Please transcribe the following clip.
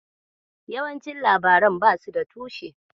Yawancin labaran da basu da tushe.